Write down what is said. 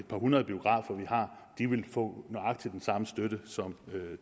par hundrede biografer vi har vil få nøjagtig den samme støtte som